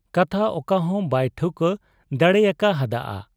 ᱠᱟᱛᱷᱟ ᱚᱠᱟᱦᱚᱸ ᱵᱟᱭ ᱴᱷᱟᱹᱣᱠᱟᱹ ᱫᱟᱲᱮᱭᱟᱠᱟ ᱦᱟᱫ ᱟ ᱾